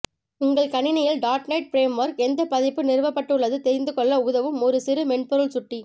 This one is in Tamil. உங்கள் கணிணியில் டாட் நெட் பிரேம்வொர்க் எந்த பதிப்பு நிறுவப்பட்டுள்ளது தெரிந்து கொள்ள உதவும் ஒரு சிறு மென்பொருள் சுட்டி